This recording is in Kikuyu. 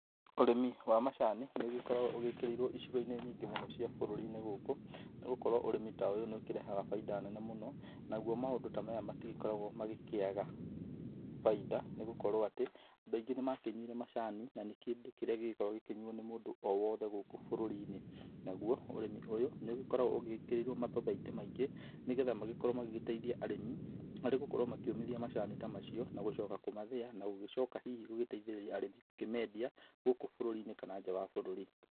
Ũrĩmi wa macani nĩ ũgĩkoragwo ũgĩkĩrĩirwo icigo-inĩ nyingĩ mũno cia bũrũri-inĩ gũkũ, nĩ gũkorwo ũrĩmi ta ũyũ nĩ ũkĩrehaga faida nene mũno, naguo maũndũ ta maya matigĩkoragwo magĩkĩaga faida nĩ gũkorwo atĩ, andũ aingĩ nĩ makĩnyuire macani na nĩ kĩndũ kĩrĩa gĩgĩkoragwo gĩkĩnyuo nĩ mũndũ o wothe gũkũ bũrũri-inĩ, naguo ũrĩmi ũyũ nĩ ũgĩkoragwo ũgĩkĩrĩirwo mathathaitĩ maingĩ, nĩgetha magĩgĩkorwo magĩgĩteithia arĩmi harĩ gũkorwo makĩũmithia macani ta macio, na gũcoka kũmathĩa na gũgĩcoka hihi gũgĩteithĩrĩria arĩmi gũkĩmendia, gũkũ bũrũri-inĩ kana nja ya bũrũri.